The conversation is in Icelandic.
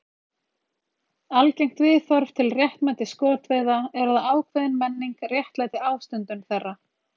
Algengt viðhorf til réttmæti skotveiða er að ákveðin menning réttlæti ástundun þeirra.